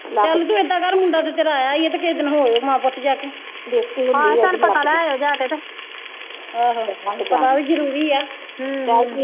ਚਲ ਤੂੰ ਏਦਾਂ ਕਰ ਮੁੰਡਾ ਤੇ ਤੇਰਾ ਆਇਆ ਈਆ ਤੇ ਕਿਹੇ ਦਿਨ ਹੋ ਆਇਓ ਮਾਂ ਪੁੱਤ ਜਾ ਕੇ ਹਾਂ ਤੇ ਹੁਣ ਪਤਾ ਲੈ ਆਇਓ ਜਾ ਕੇ ਤੇ ਆਹੋ ਪਤਾ ਵੀ ਜਰੂਰੀ ਆ